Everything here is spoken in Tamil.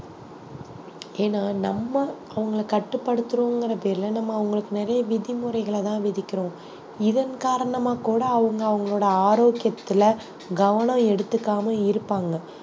ஏன்னா நம்ம அவங்களை கட்டுப்படுத்தறோங்கிற பேர்ல நம்ம அவங்களுக்கு நிறைய விதிமுறைகளதான் விதிக்கிறோம் இதன் காரணமா கூட அவங்க அவங்களோட ஆரோக்கியத்துல கவனம் எடுத்துக்காம இருப்பாங்க